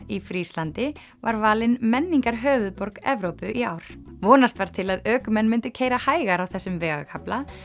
í Fríslandi var valin Evrópu í ár vonast var til að ökumenn myndu keyra hægar á þessum vegakafla